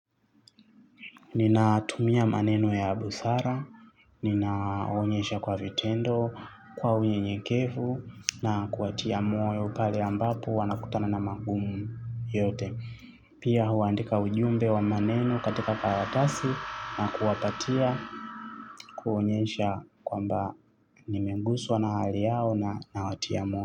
Ninatumia maneno ya busara, ninaonyesha kwa vitendo, kwa unyenyekevu na kuwatia moyo pale ambapo wanakutana na magumu yote. Pia huandika ujumbe wa maneno katika karatasi na kuwapatia kuonyesha kwamba nimeguswa na hali yao na watia moyo.